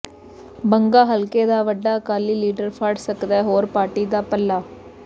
ਬੰਗਾ ਹਲਕੇ ਦਾ ਵੱਡਾ ਅਕਾਲੀ ਲੀਡਰ ਫੜ ਸਕਦੈ ਹੋਰ ਪਾਰਟੀ ਦਾ ਪੱਲਾ